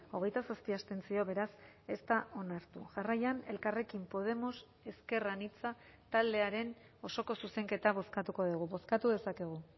hogeita zazpi abstentzio beraz ez da onartu jarraian elkarrekin podemos ezker anitza taldearen osoko zuzenketa bozkatuko dugu bozkatu dezakegu